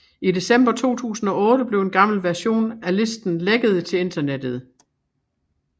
I december 2008 blev en gammel version af listen lækket til internettet